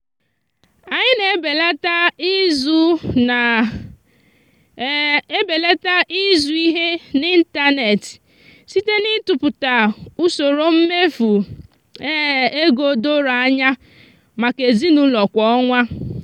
anyị na-ebelata izu na-ebelata izu ihe n'ịntanet site n'ịtụpụta usoro mmefu ego doro anya maka ezinụụlọ kwa ọnwa.